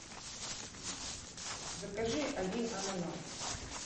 закажи один ананас